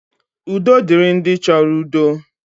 Udo dịrị ndị chọrọ udo.